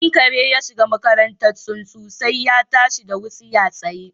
Idan kare ya shiga makarantar tsuntsu, sai ya tashi da wutsiya tsaye